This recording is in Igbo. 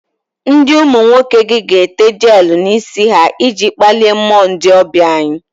Ndi umu nwoke gi ga-ete jelu n'isi ha iji kpalie mmuo ndi obia anyi